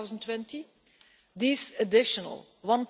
2020. This additional EUR